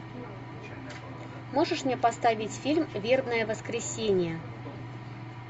можешь мне поставить фильм вербное воскресенье